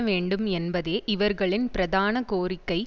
வேண்டும் என்பதே இவர்களின் பிரதான கோரிக்கை